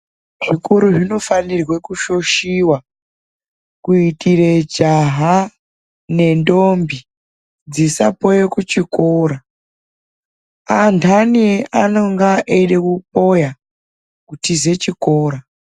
Zvikora zvinofanirwe kushoshiwa, kuitire jaha nendombi dzisapoye kuchikora. Andani anonge eyida kupoya kutize chikora.